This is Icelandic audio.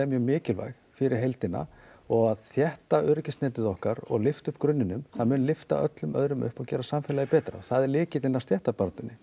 mjög mikilvæg fyrir heildina og að þétta öryggisnetið okkar og lyfta upp grunninum það mun lyfta öllum öðrum upp og gera samfélagið betra það er lykillinn að stéttabaráttunni